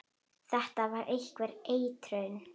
Þetta var einhver eitrun.